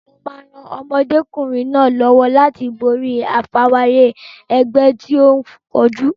Mo máa ran ọmọdékùnrin náà lọ́wọ́ láti borí àfarawé ẹgbẹ́ tí ó ń kojú.